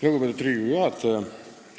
Lugupeetud Riigikogu juhataja!